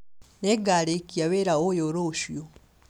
Nĩngarĩkia wĩra ũyũ rũciũ